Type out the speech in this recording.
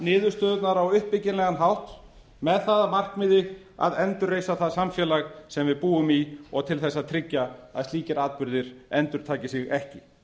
niðurstöðurnar á uppbyggilegan hátt með það að markmiði að endurreisa það samfélag sem við búum í og til þess að tryggja að slíkir atburðir endurtaki sig ekki